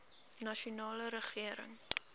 nasionale regering